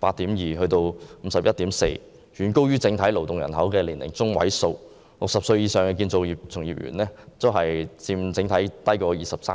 上升至 51.4， 遠高於整體勞動人口的年齡中位數，而60歲以上的建造業從業員佔行業總人數的 23%。